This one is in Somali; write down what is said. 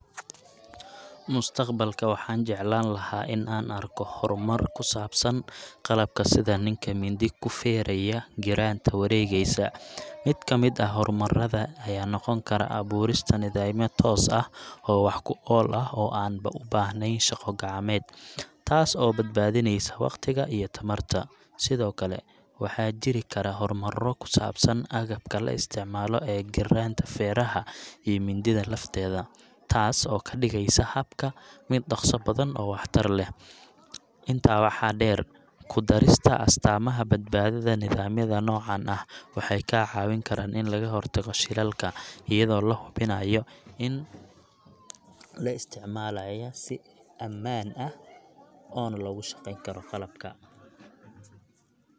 Mustaqbalka, waxaan jeclaan lahaa in aan arko horumar ku saabsan qalabka sida kan nin mindi ku feeraya giraanta wareegaysa. Mid ka mid ah horumarrada ayaa noqon kara abuurista nidaamyo toos ah oo wax ku ool ah oo aan u baahnayn shaqo gacmeed, taas oo badbaadinaysa waqtiga iyo tamarta. Sidoo kale, waxaa jiri kara horumarro ku saabsan agabka la isticmaalo ee giraanta feeraha iyo mindida lafteeda, taas oo ka dhigaysa habka mid dhaqso badan oo waxtar leh. Intaa waxaa dheer, ku darista astaamaha badbaadada nidaamyada noocan ah waxay kaa caawin karaan in laga hortago shilalka, iyadoo la hubinayo in isticmaalayaa ay si ammaan ah oona loogu shaqeyn karo qalabka. If you're planning to record it in one and a half minutes, this should be a good length for your audio!